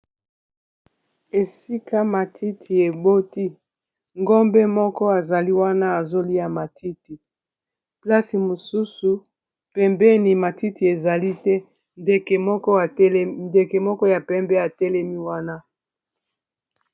Esika matiti eboti ngombe moko azali wana azolia matiti plasi mosusu pembeni ya matiti ezali pe ndeke moko ya pembe atelemi wana.